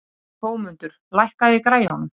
Hrómundur, lækkaðu í græjunum.